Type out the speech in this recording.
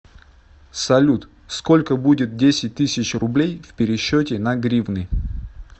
салют сколько будет десять тысяч рублей в пересчете на гривны